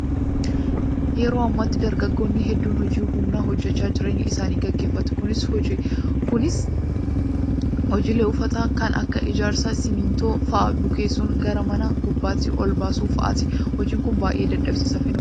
Yeroo ammaatti dargaggoonni hedduun hojii humnaa hojjachuun jireenya isaanii gaggeeffatu. Kunis hojiilee ulfaataa kan akka ijaarsaa simmintoo fa'aa bukeessuun gara mana gubbaatti ol baasuu fa'aati. Hojiin kun baay'ee dadhabsiisaa fi nuffisiisaadha.